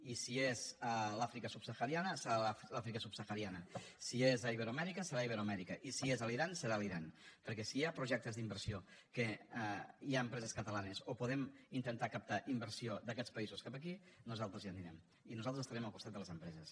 i si és a l’àfrica subsahariana serà a l’àfrica subsahariana si és a iberoamèrica serà a iberoamèrica i si és a l’iran serà a l’iran perquè si hi ha projectes d’inversió en què hi ha empreses catalanes o podem intentar captar inversió d’aquests països cap aquí nosaltres hi anirem i nosaltres estarem al costat de les empreses